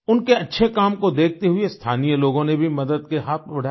उनके अच्छे काम को देखते हुए स्थानीय लोगों ने भी मदद के हाथ बढाए